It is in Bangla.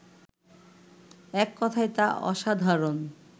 এক কথায় তা অসাধারণ